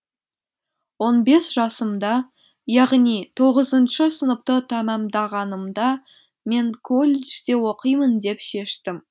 он бес жасымда яғни тоғызыншы сыныпты тәмамдағанымда мен колледжде оқимын деп шештім